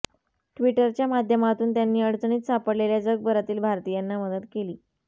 ट्विटरच्या माध्यमातून त्यांनी अडचणीत सापडलेल्या जगभरातील भारतीयांना मदत केली